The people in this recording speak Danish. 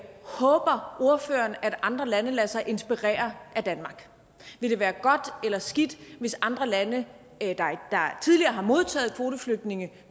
håber ordføreren at andre lande lader sig inspirere af danmark vil det være godt eller skidt hvis andre lande der tidligere har modtaget kvoteflygtninge